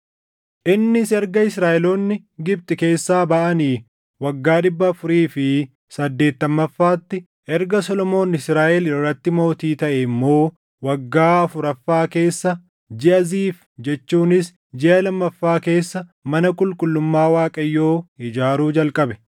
Innis erga Israaʼeloonni Gibxi keessaa baʼanii waggaa dhibba afurii fi saddeettammaffaatti, erga Solomoon Israaʼel irratti mootii taʼee immoo waggaa afuraffaa keessa jiʼa Ziif jechuunis jiʼa lammaffaa keessa mana qulqullummaa Waaqayyoo ijaaruu jalqabe.